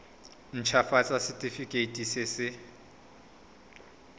nt hafatsa setefikeiti se se